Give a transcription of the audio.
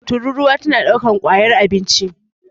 tururuwa tana daukar kwaya abinci